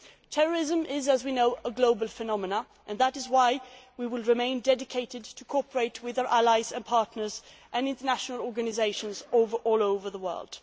and individuals. Terrorism is, as we know, a global phenomenon, and that is why we will remain dedicated to cooperating with our allies and partners and international organisations all